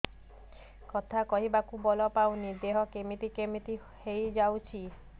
କଥା କହିବାକୁ ବଳ ପାଉନି ଦେହ କେମିତି କେମିତି ହେଇଯାଉଛି